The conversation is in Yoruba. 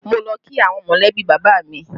Mo lọ kí àwọn molebi bàbá mi